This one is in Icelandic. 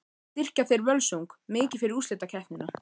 Styrkja þeir Völsung mikið fyrir úrslitakeppnina?